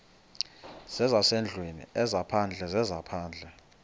zezasendlwini ezaphandle zezaphandle